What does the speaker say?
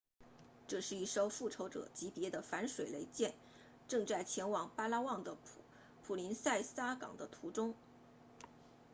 这是一艘复仇者级别的反水雷舰正在前往巴拉望的普林塞萨港的途中